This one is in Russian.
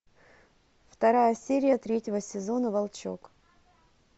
вторая серия третьего сезона волчок